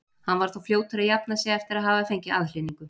Hann var þó fljótur að jafna sig eftir að hafa fengið aðhlynningu.